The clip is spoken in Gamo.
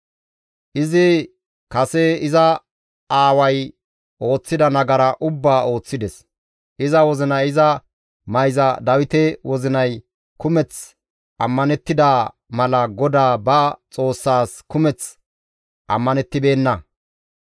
Izi kase iza aaway ooththida nagara ubbaa ooththides; iza wozinay iza mayza Dawite wozinay kumeth ammanettida mala GODAA ba Xoossaas kumeth ammanettibeenna.